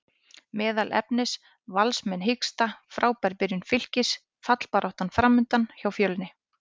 Meðal efnis: Valsmenn hiksta, Frábær byrjun Fylkis, fallbarátta framundan hjá Fjölni?